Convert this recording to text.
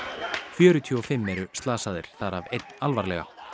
fjörutíu og fimm eru slasaðir þar af einn alvarlega